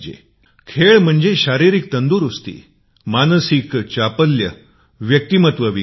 क्रीडा म्हणजे शारीरिक तंदुरुस्ती बौद्धिक तत्परता भावनिक सहसंबंधत्व